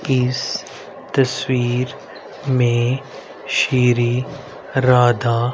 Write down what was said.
इस तस्वीर में श्री राधा--